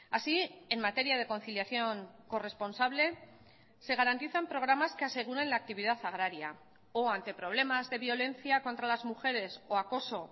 así en materia de conciliación corresponsable se garantizan programas que aseguren la actividad agraria o ante problemas de violencia contra las mujeres o acoso